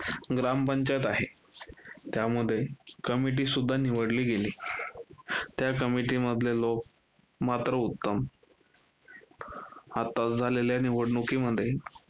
ग्रामपंचायत आहे. त्यामध्ये committee सुद्धा निवडली गेली, त्या committee मधले लोक मात्र उत्तम. आत्ताच झालेल्या निवडणुकीमध्ये